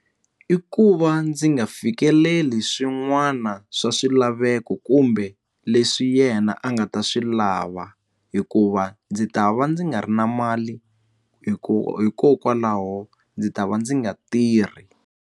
I ku va ndzi nga fikeleli swin'wana swa swilaveko kumbe leswi yena a nga ta swi lava hikuva ndzi ta va ndzi nga ri na mali hi ku hikokwalaho ndzi ta va ndzi nga tirhi.